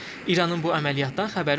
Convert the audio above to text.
İranın bu əməliyyatdan xəbəri olmayıb.